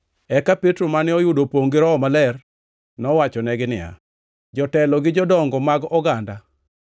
Eka Petro mane oyudo opongʼ gi Roho Maler nowachonegi niya, “Jotelo gi jodongo mag oganda!